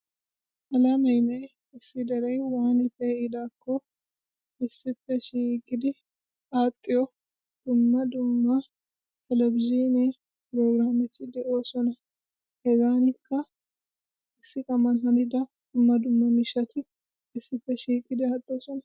Alaamene issi dere waani pe'iidaakko issippe shiiqqidi axxiyo dumma dumma televizhiine prograametti de'oosona. Hegaanikka issi taman hanida dumma dumma miishati issippe shiiqqidi aadhdhoosona.